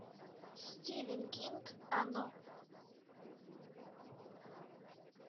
стивен кинг оно